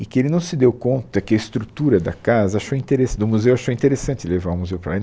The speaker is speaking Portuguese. e que ele não se deu conta que a estrutura da casa achou interes do museu achou interessante levar o museu para lá.